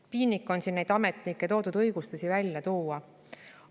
Piinlik on neid ametnike toodud õigustusi välja tuua.